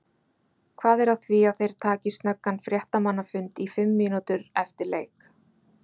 Hvað er að því að þeir taki snöggan fréttamannafund í fimm mínútur eftir leik?